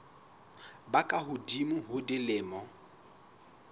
ba ka hodimo ho dilemo